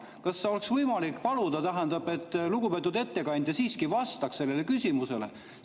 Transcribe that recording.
Kas oleks võimalik paluda, et lugupeetud ettekandja siiski vastaks sellele küsimusele?